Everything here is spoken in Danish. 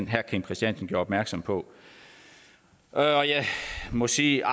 herre kim christiansen gjorde opmærksom på og jeg må sige